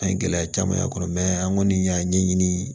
An ye gɛlɛya caman sɔrɔ an kɔni y'a ɲɛɲini